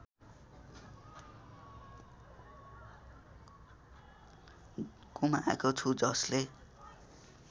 गुमाएको छु जसले